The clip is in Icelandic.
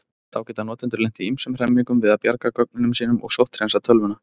Þá geta notendur lent í ýmsum hremmingum við að bjarga gögnunum sínum og sótthreinsa tölvuna.